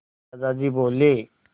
दादाजी बोले